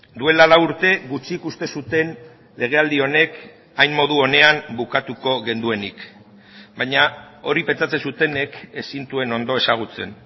duela lau urte gutxik uste zuten legealdi honek hain modu onean bukatuko genuenik baina hori pentsatzen zutenek ez zintuen ondo ezagutzen